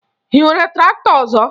Ị nwere traktọ ọzọ?